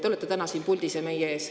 Te olete täna siin puldis ja meie ees.